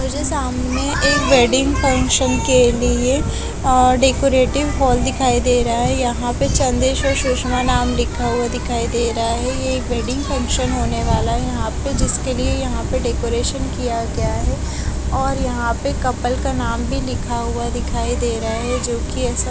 मुझे सामने एक वेडिंग फंक्शन के लिए अह डेकोरेटिव हॉल दिखाई दे रहा है यहां पे चंदेश्वर सुषमा नाम लिखा हुआ दिखाई दे रहा है यह एक वेडिंग फंक्शन होने वाला है यहां पे जिसके लिए यहां पे डेकोरेशन किया गया है और यहां पे कपल का नाम भी लिखा हुआ दिखाई दे रहा है जो कि ऐसा --